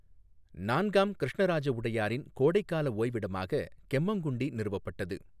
நான்காம் கிருஷ்ணராஜ உடையாரின் கோடைக்கால ஓய்விடமாக கெம்மங்குண்டி நிறுவப்பட்டது.